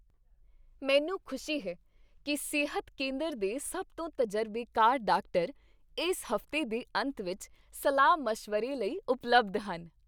ਮੈਨੂੰ ਖੁਸ਼ੀ ਹੈ ਕਿ ਸਿਹਤ ਕੇਂਦਰ ਦੇ ਸਭ ਤੋਂ ਤਜਰਬੇਕਾਰ ਡਾਕਟਰ ਇਸ ਹਫ਼ਤੇ ਦੇ ਅੰਤ ਵਿੱਚ ਸਲਾਹ ਮਸ਼ਵਰੇ ਲਈ ਉਪਲਬਧ ਹਨ